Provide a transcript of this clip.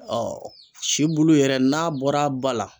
si bulu yɛrɛ n'a bɔr'a ba la